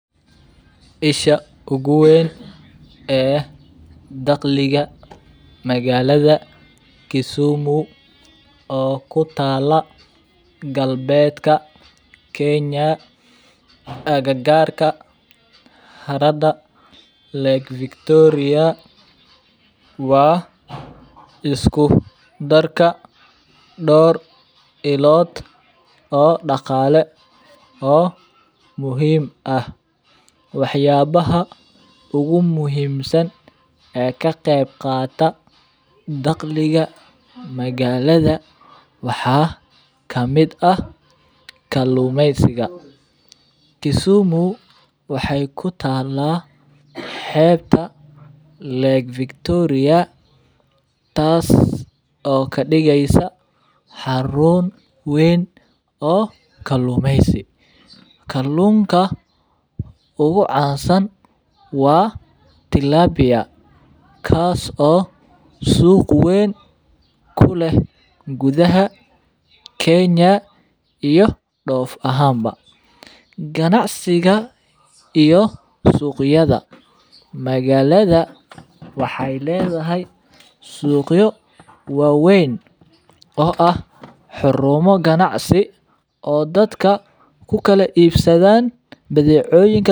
Ishaa ugu weyn e dakhliga magaalda Kisumu o kutala galbedka Kenya agagarka harada Lake Victoria o isku darka dhowr ilood o daqale o muhim ah. Waxayabaha umuhimsan e kaqeybqata dakhliga magalada waxa kamid ah kalumeysaga. Kisumu waxay kutala xebta Lake Victoria tas o kadigeysa xaruun weyn o kalumeysi, kaliuunka ugu caansan wa Tilabia kaaso suq weyn kuleh gudaha Kenya iyo doof ahanba ganacsiga iyo suuqyada magalada waxay ledahay suuqyo waweyn o ah xaruumyo ganacsi o dadka kula ibsadan badheconyinka.